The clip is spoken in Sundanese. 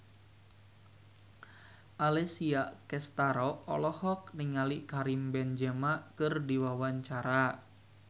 Alessia Cestaro olohok ningali Karim Benzema keur diwawancara